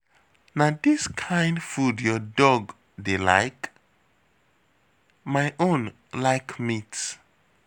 Na dis kin food your dog dey like? My own like meat